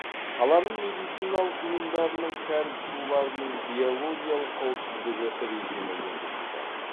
қаланың медициналық ұйымдарының кәріз суларының биологиялық қауіпсіздігі режимі енгізілді